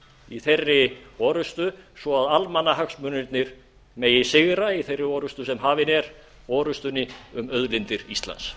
í þeirri orrustu svo að almannahagsmunirnir megi sigra í þeirri orrustu sem hafin er orrustunni um auðlindir íslands